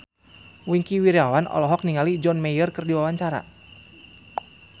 Wingky Wiryawan olohok ningali John Mayer keur diwawancara